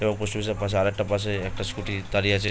এবং post office -এর আর একটা পাশে একটা স্কুটি দাঁড়িয়ে আছে ।